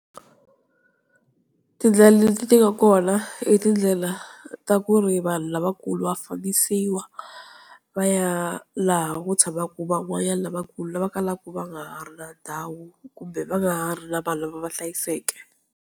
Tindlela leti ti nga kona e tindlela ta ku ri vanhu lavakulu wa fambisiwa va ya laha ku tshamaka van'wanyani lavakulu lava kalaka va nga ha ri na ndhawu kumbe va nga ri na vanhu lava va hlayiseke.